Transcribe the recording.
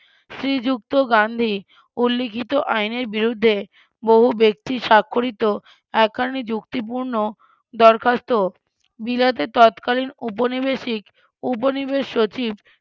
শ্রীযুক্ত গান্ধী উল্লিখিত আইনের বিরুদ্ধে বহু ব্যক্তি সাক্ষরিত একখানি যুক্তিপূর্ণ দরখাস্ত বিলাতে তৎকালীন উপনিবেশিক উপনিবেশ সচিব